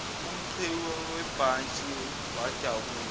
umqhewu webhantshi wadabuka